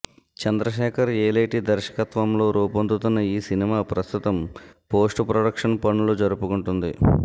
చంద్రశేఖర్ యేలేటి దర్శకతవంలో రూపొందుతున్న ఈ సినిమా ప్రస్తుతం పోస్ట్ ప్రొడక్షన్ పనులు జరుపుకుంటుంది